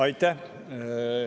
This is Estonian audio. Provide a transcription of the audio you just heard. Aitäh!